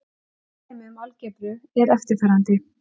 Annað dæmi um algebru er eftirfarandi.